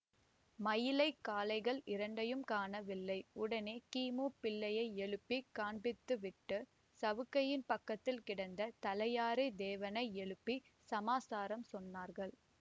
மயிலைக் காளைகள் இரண்டையும் காணவில்லை உடனே கிமு பிள்ளையை எழுப்பி காண்பித்துவிட்டு சவுக்கையின் பக்கத்தில் கிடந்த தலையாரு தேவனை எழுப்பிச் சமாசாரம் சொன்னார்கள்